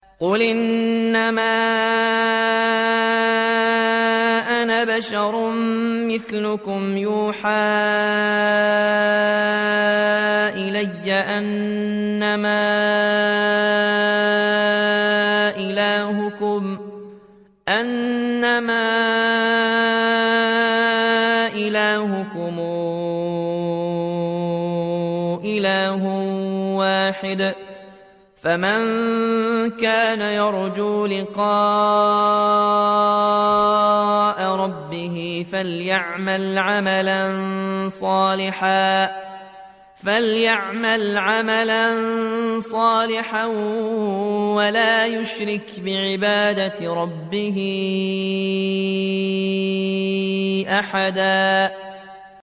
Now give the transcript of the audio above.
قُلْ إِنَّمَا أَنَا بَشَرٌ مِّثْلُكُمْ يُوحَىٰ إِلَيَّ أَنَّمَا إِلَٰهُكُمْ إِلَٰهٌ وَاحِدٌ ۖ فَمَن كَانَ يَرْجُو لِقَاءَ رَبِّهِ فَلْيَعْمَلْ عَمَلًا صَالِحًا وَلَا يُشْرِكْ بِعِبَادَةِ رَبِّهِ أَحَدًا